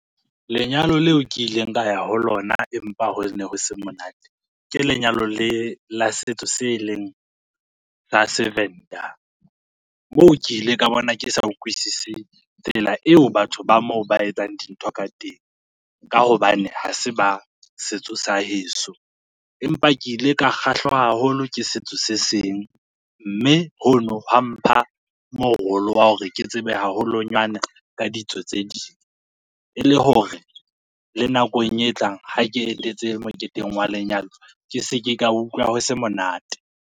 Lenyalo leo ke ileng ka ya ho lona, empa ho ne ho se monate, ke lenyalo le la setso, se leng sa seVenda, moo ke ile ka bona ke sa ukwisisi tsela eo batho ba moo ba etsang dintho ka teng ka hobane ha se ba setso sa heso. Empa ke ile ka kgahlwa haholo ke setso se seng, mme hono hwa mpha morolo wa hore ke tsebe haholonyana ka ditso tse ding, e le hore le nakong e tlang ha ke etetse moketeng wa lenyalo, ke se ke ka utlwa ho se monate.